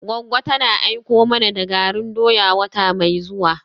Goggo tana aiko mana da garin doya wata mai zuwa.